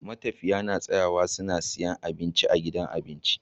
Matafiya na tsayawa su siya abinci a gidan abinci